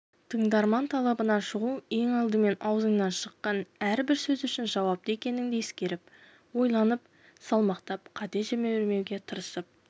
тыңдарман талабынан шығу ең алдымен аузыңнан шыққан әрбір сөз үшін жауапты екеніңді ескеріп ойланып салмақтап қате жібермеуге тырысып